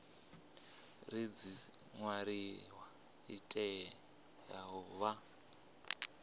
redzisiṱariwa i tea u vha